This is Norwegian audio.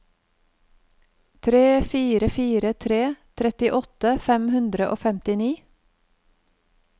tre fire fire tre trettiåtte fem hundre og femtini